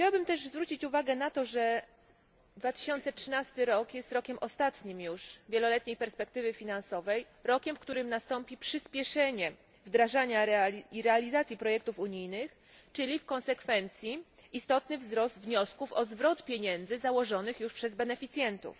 Chciałabym też zwrócić uwagę na to, że 2013 rok jest ostatnim już rokiem wieloletniej perspektywy finansowej, rokiem, w którym nastąpi przyspieszenie wdrażania i realizacji projektów unijnych, czyli w konsekwencji istotny wzrost wniosków o zwrot pieniędzy założonych już przez beneficjentów.